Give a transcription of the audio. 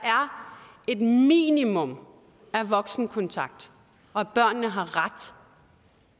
et minimum af voksenkontakt og at børnene har ret